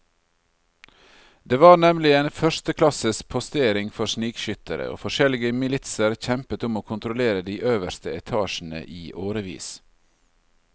Det var nemlig en førsteklasses postering for snikskyttere, og forskjellige militser kjempet om å kontrollere de øverste etasjene i årevis.